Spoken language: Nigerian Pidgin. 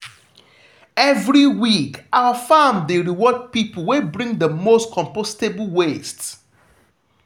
every week our farm dey reward people wey bring the most compostable waste.